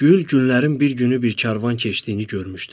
Gül, günlərin bir günü bir karvan keçdiyini görmüşdü.